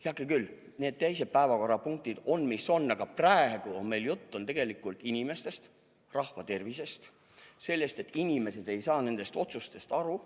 Heakene küll, need teised päevakorrapunktid on, mis nad on, aga praegu käib meil jutt tegelikult inimestest, rahva tervisest ja sellest, et inimesed ei saa otsustest aru.